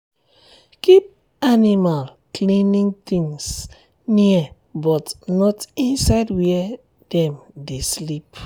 keep animal cleaning things near but not inside where dem dey sleep.